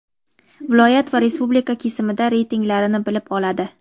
viloyat va respublika kesimida reytinglarini bilib oladi.